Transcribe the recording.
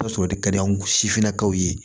O y'a sɔrɔ o de ka di anw sifinnakaw ye